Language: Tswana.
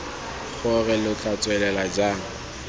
gore lo tla tswelela jang